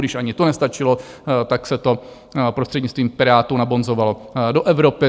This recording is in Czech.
Když ani to nestačilo, tak se to prostřednictvím Pirátů nabonzovalo do Evropy.